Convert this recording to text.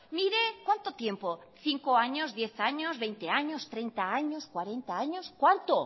mire cuánto tiempo cinco años diez años veinte años treinta años cuarenta años cuánto